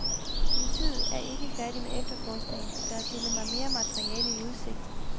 Politiet er ikke færdig med efterforskningen, og der er stillet mig mere materiale i udsigt.